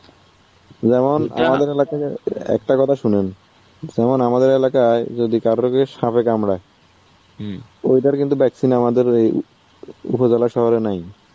যেমন আমাদের এলাকাতে একটা কথা শুনেন. যেমন আমাদের এলাকায় যদি কারোর কে সাপে কামরাই ওটার কিন্তু ভ্যাকসিন আমাদের ওই উপজেলা শহরে নাই